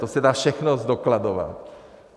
To se dá všechno zdokladovat.